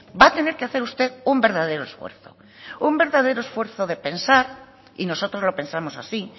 va a tener que hacer usted un verdadero esfuerzo un verdadero esfuerzo de pensar y nosotros lo pensamos así